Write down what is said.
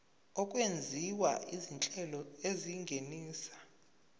okwenziwa izinhlelo ezingenisa